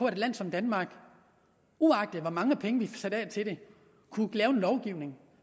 et land som danmark uagtet hvor mange penge vi satte af til det kunne lave en lovgivning